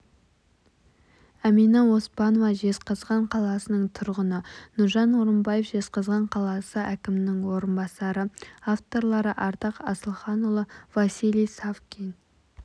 әмина оспанова жезқазған қаласының тұрғыны нұржан орынбаев жезқазған қаласы әкімінің орынбасары авторлары ардақ асылханұлы василий савкин